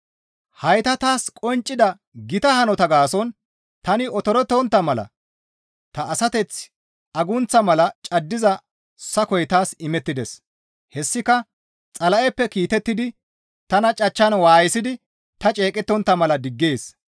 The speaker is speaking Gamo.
Hayta taas qonccida gita hanota gaason tani otorettontta mala ta asateth agunththa mala caddiza sakoy taas imettides; hessika Xala7eppe kiitettidi tana cachchan waayisidi ta ceeqettontta mala diggees.